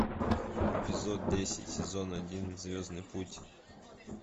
эпизод десять сезон один звездный путь